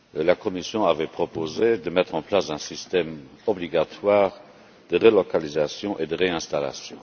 La Commission avait proposé de mettre en place un système obligatoire de relocalisation et de réinstallation.